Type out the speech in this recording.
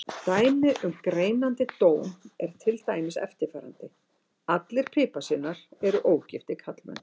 Dæmi um greinandi dóm er til dæmis eftirfarandi: Allir piparsveinar eru ógiftir karlmenn.